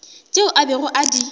tšeo a bego a di